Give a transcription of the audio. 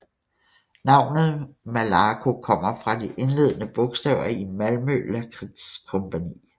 Navnet Malaco kommer fra de indledende bogstaver i Malmö Lakrits Compani